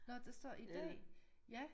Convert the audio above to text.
Nå der står i dag ja